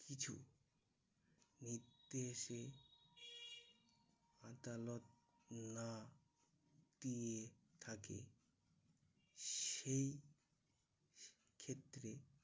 নির্দেশে আদালত না দিয়ে থাকে, সেই ক্ষেত্রে